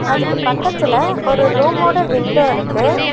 அதுக்கு பக்கத்துல ஒரு ரூமோட விண்டோ இருக்கு.